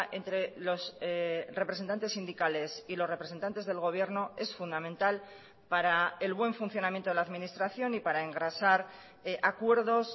entre los representantes sindicales y los representantes del gobierno es fundamental para el buen funcionamiento de la administración y para engrasar acuerdos